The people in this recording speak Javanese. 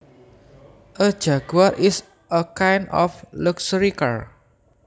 A jaguar is a kind of luxury car